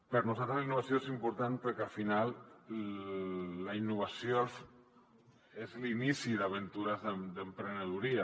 per nosaltres la innovació és important perquè al final la innovació és l’inici d’aventures d’emprenedoria